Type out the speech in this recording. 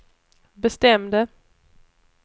bestämde